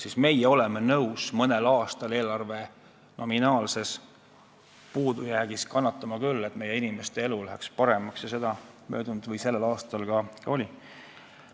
Nii et meie oleme nõus mõnel aastal eelarve nominaalset puudujääki kannatama küll, et meie inimeste elu läheks paremaks – möödunud ja sellel aastal see nii ka oli.